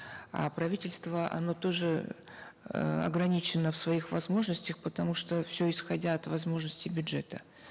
а правительство оно тоже эээ ограничено в своих возможностях потому что все исходя от возможности бюджета